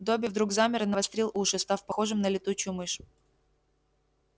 добби вдруг замер и навострил уши став похожим на летучую мышь